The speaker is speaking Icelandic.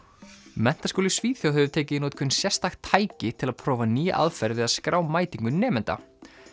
menntaskóli í Svíþjóð hefur tekið í notkun sérstakt tæki til að prófa nýja aðferð við að skrá mætingu nemenda